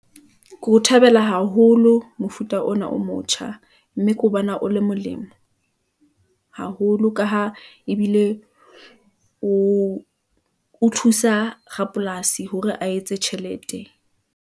Ke ho thabela haholo mofuta ona o motjha [pause [, mme ke ho bona o le molemo , haholo ka ha ebile o o thusa rapolasi hore a etse tjhelete.